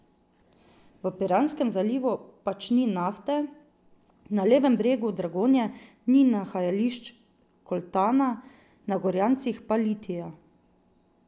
V Piranskem zalivu pač ni nafte, na levem bregu Dragonje ni nahajališč koltana, na Gorjancih pa litija.